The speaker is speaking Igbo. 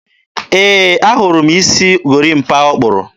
e, a hụrụ m isi gorimapa ọ kpụrụ.